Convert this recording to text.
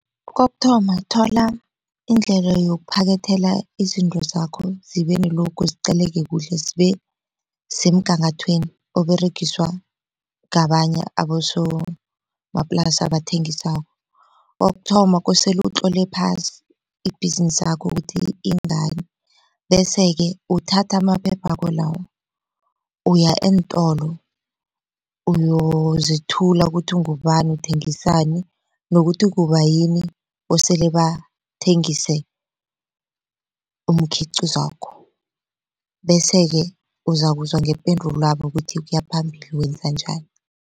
Kokuthoma thola indlela yokuphakethela izinto zakho zibe nelogo ziqakaleke kuhle zibe semgangathweni oberegiswa ngabanye abosomaplasi abathengisako. Kokuthoma kosele utlole phasi ibhizinisakho ukuthi ingani, bese-ke uthatha amaphephakho lawo uya eentolo uyozithula ukuthi ungubani uthengisani nokuthi kubayini kosele bathengise umkhiqizwakho, bese-ke uzakuzwa ngependulwabo ukuthi ukuya phambili wenza njani.